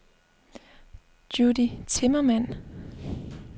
Judy Timmermann